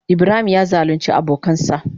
Ibrahim ya zalunce abokansa.